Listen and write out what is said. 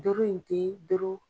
in te